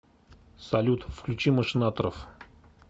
салют включи машинаторов